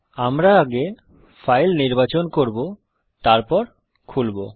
আমরা আগে ফাইল নির্বাচন করব তারপর খুলবো